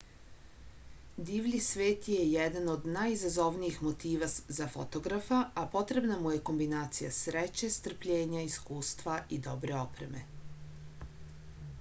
divlji svet je jedan od najizazovnijih motiva za fotografa a potrebna mu je kombinacija sreće strpljenja iskustva i dobre opreme